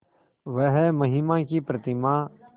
वह महिमा की प्रतिमा